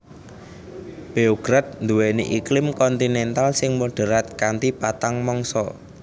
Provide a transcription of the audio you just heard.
Beograd nduwèni iklim kontinental sing moderat kanthi patang mangsa